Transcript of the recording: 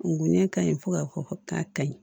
N go ɲɛ ka ɲi fo ka fɔ k'a ka ɲi